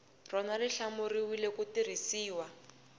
rona xi hlawuriwile ku tirhisiwa